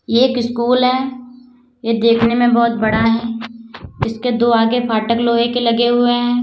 ये एक स्कूल है ये देखने में बहोत बड़ा है इसके दो आगे फाटक लोहे के लगे हुए हैं।